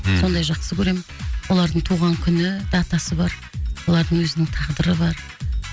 мхм сондай жақсы көремін олардың туған күні датасы бар олардың өзінің тағдыры бар